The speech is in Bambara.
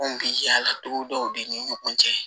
Anw bi yala togo dɔw de ni ɲɔgɔn cɛ